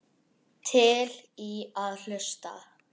Til í að hlusta.